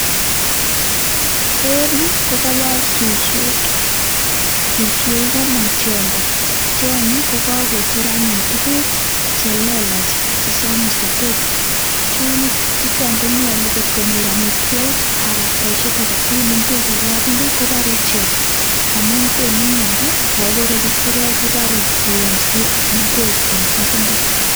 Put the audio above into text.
En yu kogobor suswek, suswek kokomong tiondo. Tionyo kogacher anyun tuguk che lelach chesomis. Chuton konyolu ngot konyor amitwogk anan ko boisiet age tugul; ingwek en kapungui kobore ichek, amun konu miondo ak kogeny isirek kobore koyomsie ngwek en kapungui.